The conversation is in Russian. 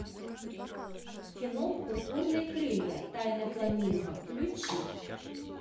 кино пурпурные крылья тайна фламинго включи